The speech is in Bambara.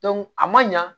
a man ɲa